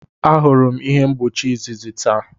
Ahụrụ m ihe mgbochi izizi taa.